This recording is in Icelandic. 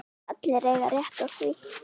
Allir eiga rétt á því.